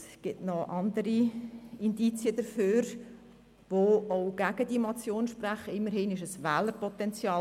Es gibt auch noch andere Indizien, die gegen diese Motion sprechen – immerhin gibt es dort noch ein Wählerpotenzial.